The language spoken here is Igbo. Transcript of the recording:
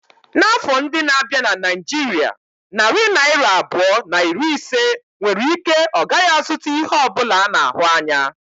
N'afọ ndị na-abịa na Naijiria, narị naira abụọ na iri ise nwere ike ọ gaghị azụta ihe ọ bụla a na-ahụ anya.